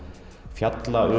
fjalla